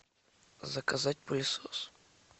заказать пылесос